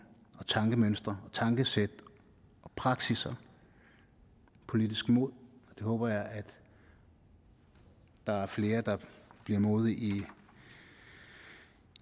tankemønstre tankesæt og praksisser politisk mod jeg håber at der er flere der bliver modige